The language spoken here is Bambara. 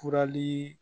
Furalii